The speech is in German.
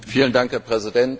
Herr Präsident!